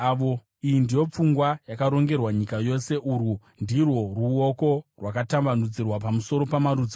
Iyi ndiyo pfungwa yakarongerwa nyika yose; urwu ndirwo ruoko rwakatambanudzirwa pamusoro pamarudzi ose.